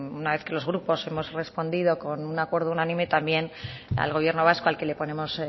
una vez que los grupos hemos respondido con un acuerdo unánime al gobierno vasco al que le ponemos